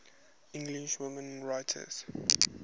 english women writers